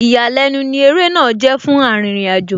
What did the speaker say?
Ìyàlẹ́nu ní ó eré náà jẹ́ fún Arìnrìn-àjò,